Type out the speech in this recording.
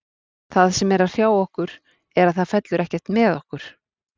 Það sem er að hrjá okkur er að það fellur ekkert með okkur.